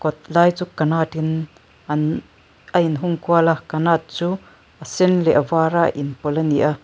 lai chu kanatin an a in hung kual a kanat chu a sen leh a var a in pawlh a ni a.